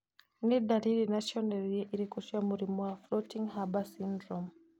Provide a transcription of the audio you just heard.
Nĩ ndariri na cionereria irĩkũ cia mũrimũ wa Floating Harbor syndrome?